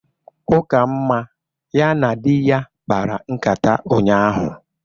Ukamma ya na di ya kpara nkata ụnyahụ